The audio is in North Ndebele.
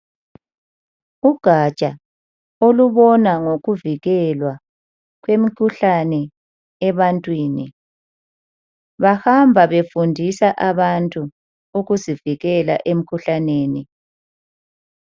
Ugatsha olubona ngokuvikelwa kwemikhuhlane ebantwini, bahamba befundisa abantu ukuzivikela emkhuhlaneni.